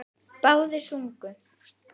Báðir sungu.